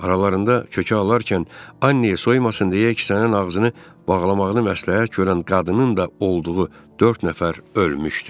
Aralarında kökə alarkən Anneya soyumasın deyə əksinə ağzını bağlamağını məsləhət görən qadının da olduğu dörd nəfər ölmüşdü.